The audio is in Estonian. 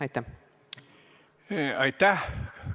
Aitäh!